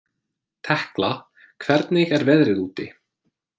Tekla, hvernig er veðrið úti?